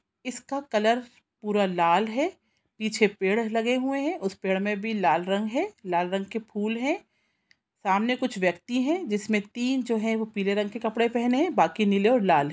इसका कलर पूरा लाल है पीछे पेड़ लगे हुए है उस पेड़ मे भी लाल रंग है लाल रंग के फूल है सामने कुछ व्यक्ति है जिसमें तीन जो है वो पीले रंग के कपड़े पहने है बाकी नीले और लाल--